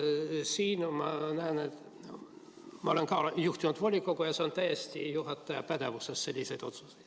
Ma olen ka juhtinud volikogu ja sellised otsused on täiesti juhataja pädevuses.